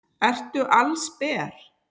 Ertu allsber?